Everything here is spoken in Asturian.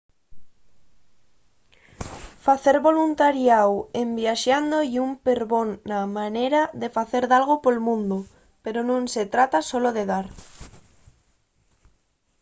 facer voluntariáu en viaxando ye un perbona manera de facer dalgo pol mundu pero nun se trata solo de dar